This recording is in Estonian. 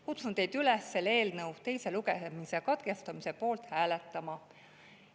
Kutsun teid üles selle eelnõu teise lugemise katkestamise poolt hääletama.